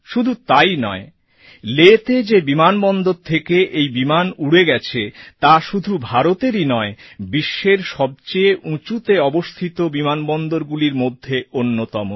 শুধু তাই নয় লেহ্তে যে বিমানবন্দর থেকে এই বিমান উড়ে গেছে তা শুধু ভারতেরই নয় বিশ্বের সবচেয়ে উঁচুতে অবস্থিত বিমানবন্দরগুলির মধ্যে অন্যতম